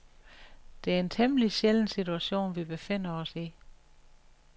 Det er en temmelig sjælden situation, vi befinder os i.